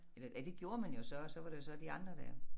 Eller ja det gjorde man jo så og så var det jo så de andre der